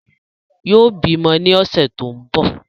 Yóò bímọ ní ọ̀sẹ̀ tó ń bọ̀